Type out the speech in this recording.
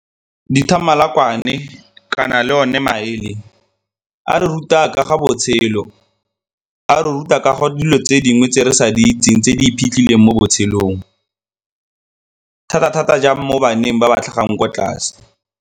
Dithamalakwane kana le one maele a re ruta ka ga botshelo, a re ruta ka ga dilo tse dingwe tse re sa di itseng tse di iphitlheleng mo botshelong, thata-thata jang mo baneng ba ba tlhagang kwa tlase.